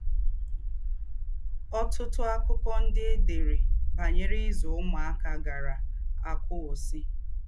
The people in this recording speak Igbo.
Ọ̀tútù àkụ́kọ̀ ndí́ è dèrè bànyèrè ízù úmùákà gàárá àkụ́wùsì.